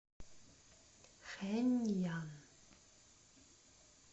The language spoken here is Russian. хэнъян